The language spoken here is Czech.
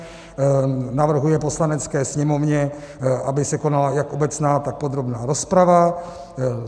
Navrhuje Poslanecké sněmovně, aby se konala jak obecná, tak podrobná rozprava.